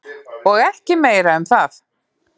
Og ekki meira um það.